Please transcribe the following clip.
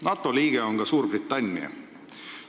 NATO liige on ka Suurbritannia.